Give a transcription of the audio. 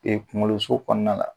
kuŋoloso kɔɔna la